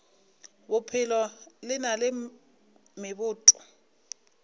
bophelo le na le meboto